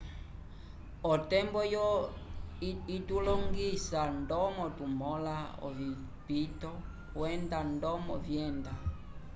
otembo oyo itulongisa ndomo tumõla ovipito kwenda ndomo vyenda